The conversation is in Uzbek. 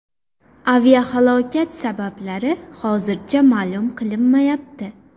Aviahalokat sabablari hozircha ma’lum qilinmayapti.